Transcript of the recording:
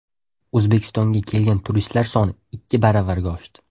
O‘zbekistonga kelgan turistlar soni ikki baravarga oshdi.